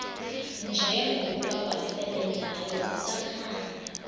njengokuba wasebenzayo kusakhanya